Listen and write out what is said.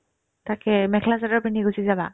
তাকে মেখলা-চাদৰ পিন্ধি গুচি যাবা